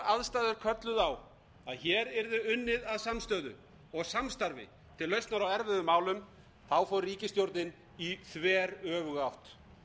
aðstæður kölluðu á að hér yrði unnið að samstöðu og samstarfi til lausnar á erfiðum málum fór ríkisstjórnin í þveröfuga átt